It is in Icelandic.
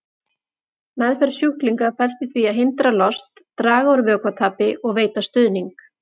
Meðferð sjúklinga felst í því að hindra lost, draga úr vökvatapi og veita stuðning.